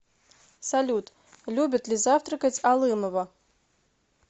салют любит ли завтракать алымова